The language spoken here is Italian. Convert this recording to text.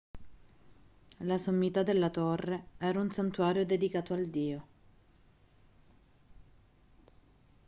la sommità della torre era un santuario dedicato al dio